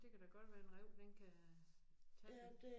Det kan da godt være en ræv den kan tage den